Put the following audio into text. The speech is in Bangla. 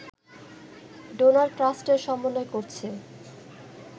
ডোনার ট্রাস্টের সমন্বয় করছে